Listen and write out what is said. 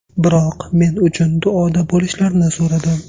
Biroq men uchun duoda bo‘lishlarini so‘radim.